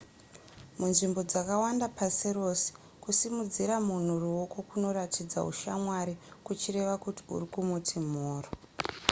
munzvimbo dzakawanda pasi rese kusimudzira munhu ruoko kunoratidza ushamwari kuchireva kuti uri kumuti mhoro